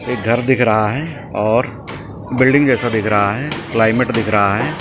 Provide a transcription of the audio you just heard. एक घर दिख रहा है और बिल्डिंग जैसा दिख रहा है क्लाइमेट दिख रहा है।